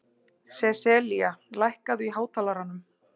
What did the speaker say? Seselía, lækkaðu í hátalaranum.